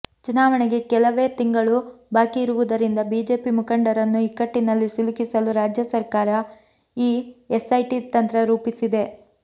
ಚುನಾವಣೆಗೆ ಕೆಲವೇ ತಿಂಗಳು ಬಾಕಿ ಇರುವುದರಿಂದ ಬಿಜೆಪಿ ಮುಖಂಡರನ್ನು ಇಕ್ಕಟ್ಟಿನಲ್ಲಿ ಸಿಲುಕಿಸಲು ರಾಜ್ಯ ಸರ್ಕಾರ ಈ ಎಸ್ಐಟಿ ತಂತ್ರ ರೂಪಿಸಿದೆ